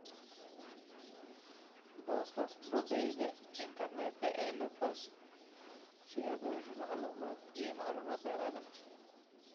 Booqo boggayaga internetka ee lupus si aad u hesho macluumaad iyo macluumaad dheeraad ah.